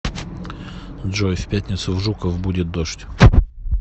джой в пятницу в жуков будет дождь